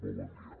molt bon dia